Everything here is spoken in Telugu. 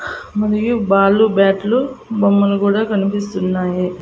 మరియు బాల్లు బ్యాట్లు బొమ్మలు కూడా కనిపిస్తున్నాయి.